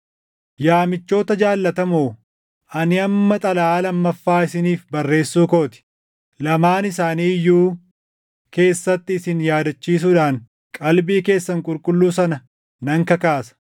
Yaa michoota jaallatamoo, ani amma xalayaa lammaffaa isiniif barreessuu koo ti. Lamaan isaanii iyyuu keessatti isin yaadachiisuudhaan qalbii keessan qulqulluu sana nan kakaasa.